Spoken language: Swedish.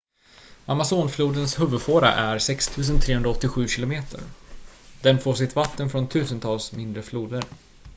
amazonflodens huvudfåra är 6 387 km den får sitt vatten får tusentals mindre floder